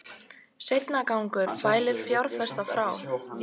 Seinagangur fælir fjárfesta frá